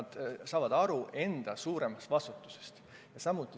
Nad saavad aru enda suuremast vastutusest.